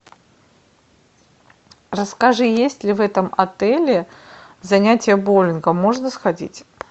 расскажи есть ли в этом отеле занятия боулингом можно сходить